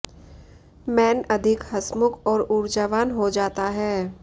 man अधिक हंसमुख और ऊर्जावान हो जाता है